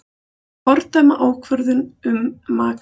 Fordæma ákvörðun um makríl